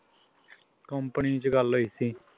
company ਚ ਗੱਲ ਹੋਈ ਸੀ